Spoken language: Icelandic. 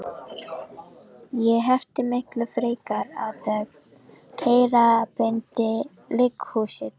Ég hefði miklu frekar átt að keyra beint í líkhúsið.